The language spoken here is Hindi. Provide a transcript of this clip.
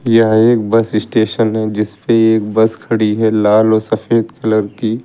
यह एक बस स्टेशन है जिसपे एक बस खड़ी है लाल और सफेद कलर की।